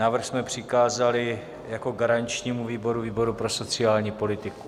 Návrh jsme přikázali jako garančnímu výboru výboru pro sociální politiku.